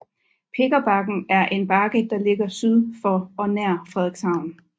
Pikkerbakken er en bakke der ligger syd for og nær Frederikshavn